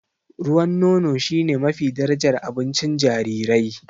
Ruwan nono shine mafi darajar abincin jarirai.